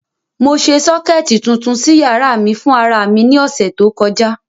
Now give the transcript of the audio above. Mo ṣe sọ́kẹ̀tì tuntun sí yàrá mi fún ara mi ní ọ̀sẹ̀ tó kọjá.